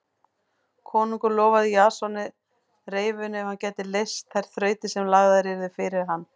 Konungur lofaði Jasoni reyfinu ef hann gæti leyst þær þrautir sem lagðar yrðu fyrir hann.